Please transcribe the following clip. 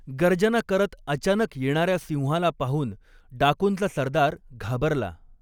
गर्जना करत अचानक येणार्या सिंहाला पाहून डाकुंचा सरदार घाबरला.